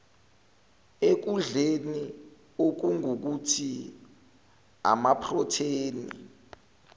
ekudleni okungukuthi amaprotheni